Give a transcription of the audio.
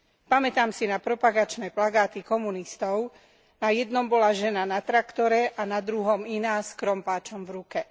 Pamätám si na propagačné plagáty komunistov. Na jednom bola žena na traktore a na druhom iná s krompáčom v ruke.